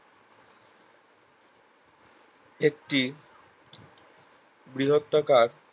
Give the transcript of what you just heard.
একটি বৃহতকার